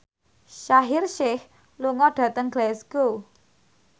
Shaheer Sheikh lunga dhateng Glasgow